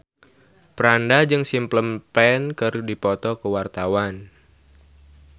Franda jeung Simple Plan keur dipoto ku wartawan